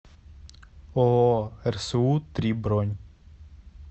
ооо рсу три бронь